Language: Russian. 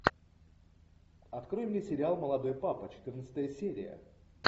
открой мне сериал молодой папа четырнадцатая серия